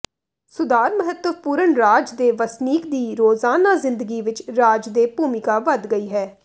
ਸੁਧਾਰ ਮਹੱਤਵਪੂਰਨ ਰਾਜ ਦੇ ਵਸਨੀਕ ਦੀ ਰੋਜ਼ਾਨਾ ਜ਼ਿੰਦਗੀ ਵਿਚ ਰਾਜ ਦੇ ਭੂਮਿਕਾ ਵਧ ਗਈ ਹੈ